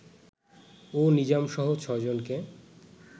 ও নিজামসহ ছয়জনকে